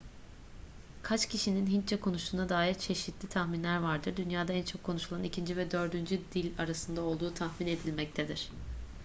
kaç kişinin hintçe konuştuğuna dair çeşitli tahminler vardır dünyada en çok konuşulan ikinci ve dördüncü dil arasında olduğu tahmin edilmektedir